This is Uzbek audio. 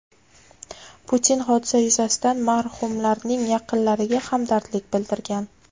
Putin hodisa yuzasidan marhumlarning yaqinlariga hamdardlik bildirgan.